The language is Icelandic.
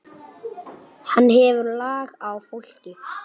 Hann hefur lag á fólki.